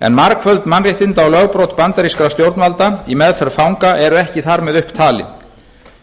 en margföld mannréttinda og lögbrot bandarískra stjórnvalda í meðferð fanga eru ekki þar með upp talin